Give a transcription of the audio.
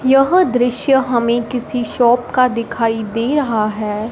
यह दृश्य हमें किसी शाॅप का दिखाई दे रहा है।